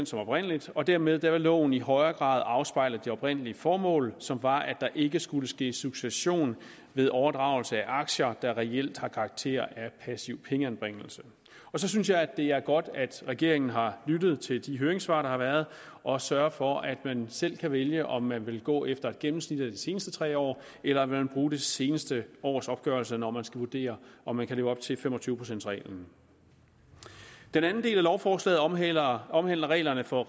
som oprindelig og dermed vil loven i højere grad afspejle det oprindelige formål som var at der ikke skulle ske succession ved overdragelse af aktier der reelt havde karakter af passiv pengeanbringelse så synes jeg også det er godt at regeringen har lyttet til de høringssvar der har været og sørget for at man selv kan vælge om man vil gå efter et gennemsnit af de seneste tre år eller om man vil bruge det seneste års opgørelse når man skal vurdere om man kan leve op til fem og tyve procents reglen den anden del af lovforslaget omhandler omhandler reglerne for